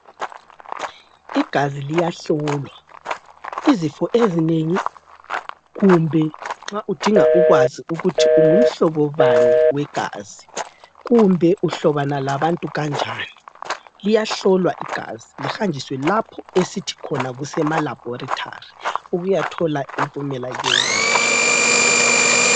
Igazi liyahlolwa izifo ezinengi kumbe nxa udinga ukwazi ukuthi ungumhlobo bani wegazi, kumbe uhlobana labantu kanjani. Liyahlolwa igazi, lihanjiswe lapho esithi khona kusema laboratory, ukuyathola impumela yonke.